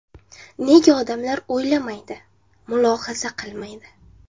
Nega odamlar o‘ylamaydi, mulohaza qilmaydi?